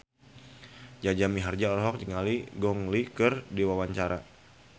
Jaja Mihardja olohok ningali Gong Li keur diwawancara